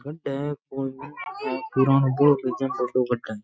खड़े है --